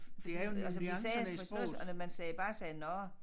Det er jo altså vi sagde for sådan noget og når man sagde bare sagde nåh